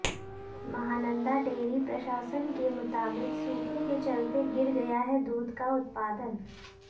Mahananda dairy प्रशासन के मुताबिक सूखे के चलते गिर गया है दूध का उत्पादन